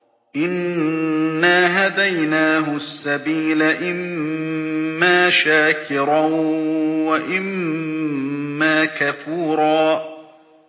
إِنَّا هَدَيْنَاهُ السَّبِيلَ إِمَّا شَاكِرًا وَإِمَّا كَفُورًا